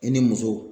I ni muso